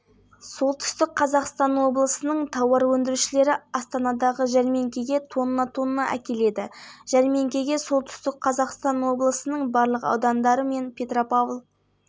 футболдан еуропа лигасы топтық кезеңінің үшінші турында астана өз алаңында маккаби тель-авивті есебімен ойсырата ұтты деп хабарлайды сайтына сілтеме жасап